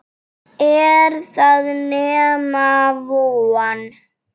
Er það nema von?